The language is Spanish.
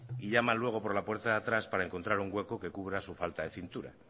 y llaman luego por la puerta de atrás para encontrar un hueco que cubra su falta de cintura